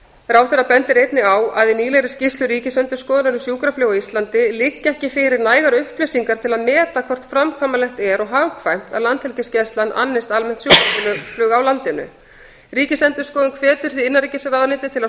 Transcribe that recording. ráðherra bendir einnig á að í nýlegri skýrslu ríkisendurskoðunar um sjúkraflug á íslandi liggi ekki fyrir nægar upplýsingar til að meta hvort framkvæmanlegt er og hagkvæmt að landhelgisgæslan annist almennt sjúkraflug á landinu ríkisendurskoðun hvetur því innanríkisráðuneyti til að